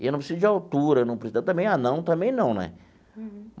E eu não preciso de altura, não precisa também anão, também não, né?